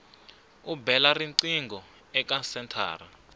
u bela riqingho eka senthara